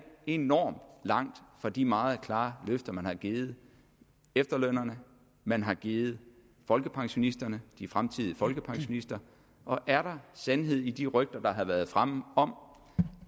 enormt langt fra de meget klare løfter man har givet efterlønnerne man har givet folkepensionisterne de fremtidige folkepensionister og er der sandhed i de rygter der har været fremme om